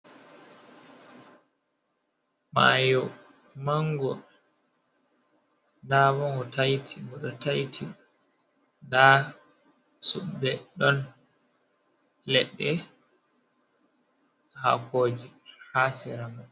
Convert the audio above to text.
Mayo mango ɗa ɓo go taiti ɓo ɗo taiti da suppe ɗon leɗɗe hakoji ha sera mai.